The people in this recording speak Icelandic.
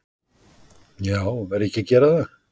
Já, verð ég ekki að gera það?